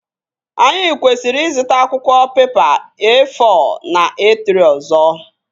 Anyị kwesịrị ịzụta akwụkwọ pepa E-fọ na E-trị ọzọ